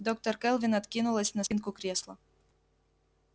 доктор кэлвин откинулась на спинку кресла